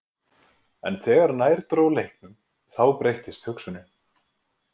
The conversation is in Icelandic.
En þegar nær dró leiknum þá breyttist hugsunin.